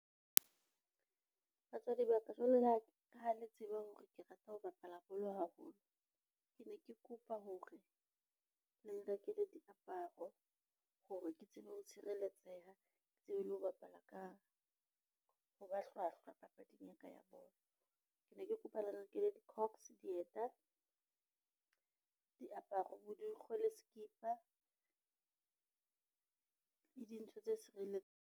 Batswadi ba ka jwalo ka ha le tseba hore ke rata ho bapala bolo haholo, ke ne ke kopa hore le nrekele diaparo hore ke tsebe ho tshireletseha, ke tsebe le ho bapala ka ho ba hlwahlwa papading ya ka ya bolo. Ke ne ke kopa le nrekele di-cox, dieta, diaparo, bodikgwe le sekipa, le dintho tse sireletsang.